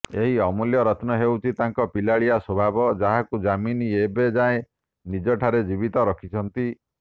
ଏହି ଅମୂଲ୍ୟ ରତ୍ନ ହେଉଛି ତାଙ୍କ ପିଲାଳିଆ ସ୍ବଭାବ ଯାହାକୁ ଯାମିନୀ ଏବେ ଯାଏଁ ନିଜଠାରେ ଜୀବିତ ରଖିଛନ୍ତି